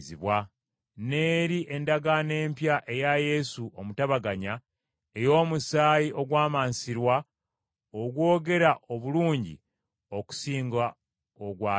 n’eri endagaano empya eya Yesu omutabaganya, ey’omusaayi ogwamansirwa ogwogera obulungi okusinga ogwa Aberi.